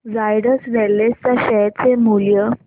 Zydus wellness च्या share चे मूल्य